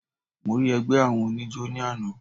Mo rí ẹgbẹ́ àwọn oníjó ní àná.